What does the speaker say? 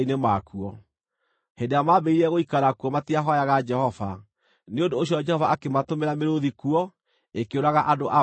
Hĩndĩ ĩrĩa maambĩrĩirie gũikara kuo matiahooyaga Jehova; nĩ ũndũ ũcio Jehova akĩmatũmĩra mĩrũũthi kuo, ĩkĩũraga andũ amwe.